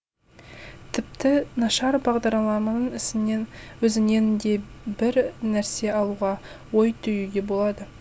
тіпті нашар бағдарламаның өзінен де бір нәрсе алуға ой түюге болады